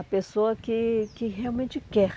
A pessoa que que realmente quer.